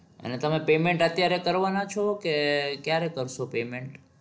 અને તમે payment અત્યારે કરવા ના છો? કે ક્યારે કરશો payment?